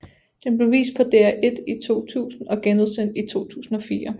Den blev vist på DR1 i 2000 og genudsendt i 2004